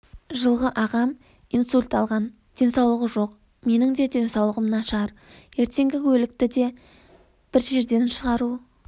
жылғы ағам инсульт алған денсаулығы жоқ менің де денсаулығым нашар ертең өлікті де бір жерден шығару